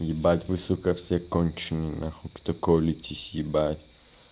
ебать вы сука все конченые нахуй кто колитесь ебать